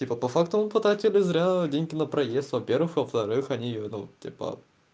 типа по факту мы потратили зря деньги на проезд во-первых во-вторых они ну типа